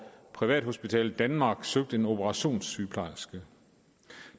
privathospitalet danmark søgte en operationssygeplejerske